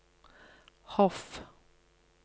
Hof